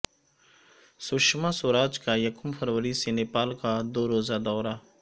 سشماسوراج کا یکم فروری سے نیپال کا دوروزہ دورہ